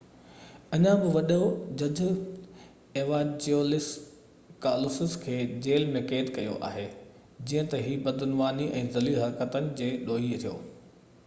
اڃا بہ وڏو جج ايوانجيلوس ڪالوسس کي جيل ۾ قيد ڪيو آهي جيئن تہ هي بدعنواني ۽ ذليل حرڪتن جي ڏوهي ٿيو